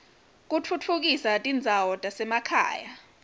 kutfutfukisa tindzawo tasemakhaya